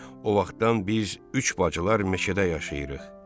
O vaxtdan biz üç bacılar meşədə yaşayırıq.